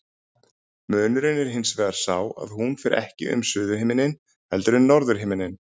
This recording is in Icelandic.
Munurinn er hins vegar sá að hún fer ekki um suðurhimininn heldur um norðurhimininn.